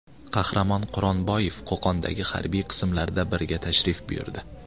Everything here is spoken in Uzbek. Qahramon Quronboyev Qo‘qondagi harbiy qismlardan biriga tashrif buyurdi .